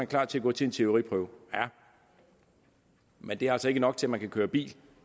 klar til at gå til en teoriprøve ja men det er altså ikke nok til at man kan køre bil